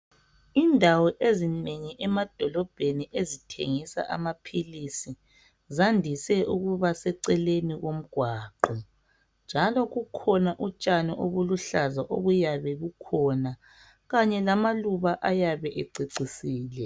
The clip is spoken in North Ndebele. Indawo ezinengi emadolobheni ezithengisa amaphilisi zandise ukuba seceleni komgwaqo njalo kukhona okutshani okuluhlaza okuyabe kukhona kanye lamaluba ayabe ececisile